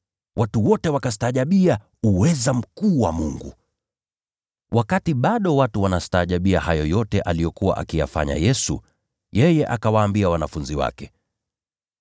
Watu wote wakastaajabia uweza mkuu wa Mungu. Wakati bado watu walikuwa wanastaajabia hayo yote aliyokuwa akiyafanya Yesu, yeye akawaambia wanafunzi wake: